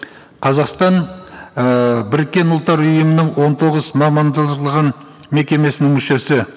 қазақстан ііі біріккен ұлттар ұйымының он тоғыз мекемесінің мүшесі